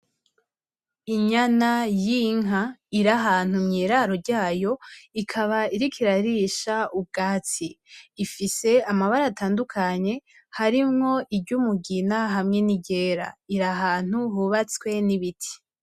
Inyama y'inka iri ahantu mw'iraro ryayo, ikaba iriko irarisha ivyatsi, ifise amabara atandukanye harimwo iry'umugina hamwe n'iryera iri ahantu hubatswe n'ibiti.